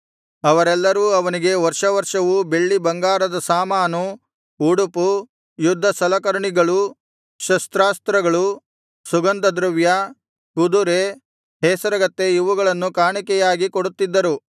ಅವರೆಲ್ಲರೂ ಅವನಿಗೆ ವರ್ಷ ವರ್ಷವೂ ಬೆಳ್ಳಿ ಬಂಗಾರದ ಸಾಮಾನು ಉಡುಪು ಯುದ್ಧಸಲಕರಣಿಗಳು ಶಸ್ತಾಸ್ತ್ರಗಳು ಸುಗಂಧದ್ರವ್ಯ ಕುದುರೆ ಹೇಸರಗತ್ತೆ ಇವುಗಳನ್ನು ಕಾಣಿಕೆಯಾಗಿ ಕೊಡುತ್ತಿದ್ದರು